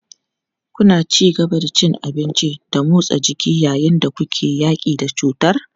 Kuna ci gaba da cin abinci da motsa jiki yayin da kuke yaƙi da cutar?